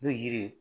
N'o yiri